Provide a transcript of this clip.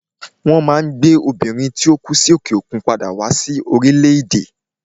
Won Maa gbe Obìnrin tí ó kú sí òkè òkun padà wá sí orílẹ̀ èdè